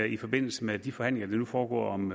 i forbindelse med de forhandlinger der nu foregår om